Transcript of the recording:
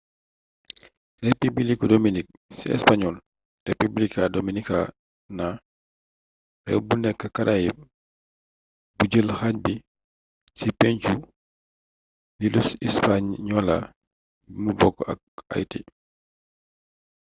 rëpibiliku dominik ci español: república dominicana réew bu nekk caraïbes bu jël xaaj bi ci penku iiluhispaniola bimu bokk ak haïti